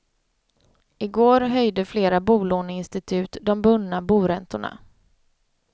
I går höjde flera bolåneinstitut de bundna boräntorna.